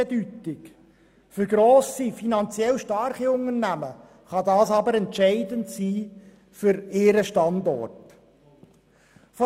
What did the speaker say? Für grosse, finanziell starke Unternehmen kann das aber entscheidend für ihren Standort sein.